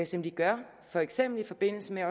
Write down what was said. som de gør for eksempel i forbindelse med